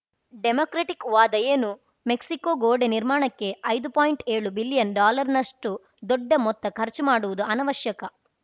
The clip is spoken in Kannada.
ಡೆಮಾಕ್ರೆಟ್‌ ವಾದ ಏನು ಮೆಕ್ಸಿಕೋ ಗೋಡೆ ನಿರ್ಮಾಣಕ್ಕೆ ಐದು ಪಾಯಿಂಟ್ಏಳು ಬಿಲಿಯನ್‌ ಡಾಲರ್‌ನಷ್ಟುದೊಡ್ಡ ಮೊತ್ತ ಖರ್ಚು ಮಾಡುವುದು ಅನವಶ್ಯಕ